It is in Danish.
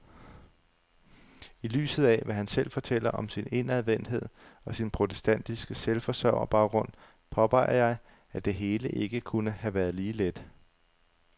I lyset af, hvad han selv fortæller om sin indadvendthed og sin protestantiske selvforsørgerbaggrund, påpeger jeg, at det hele ikke kunne have været lige let.